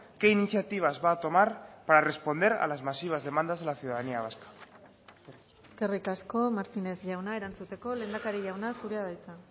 qué iniciativas va a tomar para responder a las masivas demandas de la ciudadanía vasca eskerrik asko martínez jauna erantzuteko lehendakari jauna zurea da hitza